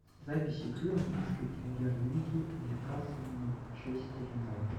запись игры английской премьер лиги ньюкасл манчестер юнайтед